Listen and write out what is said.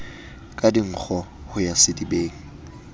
ka dinkgo ho ya sedibeng